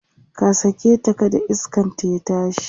ka saketa kada iskanta ya tashi!